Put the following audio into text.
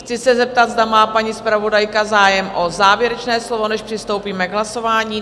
Chci se zeptat, zda má paní zpravodajka zájem o závěrečné slovo, než přistoupíme k hlasování?